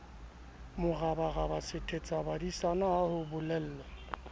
morabaraba sethetsabadisana ha ho bolelwa